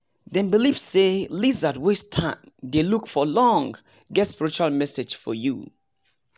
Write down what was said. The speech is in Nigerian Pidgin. dem believe say lizard wey stand dey look for long get spiritual message for you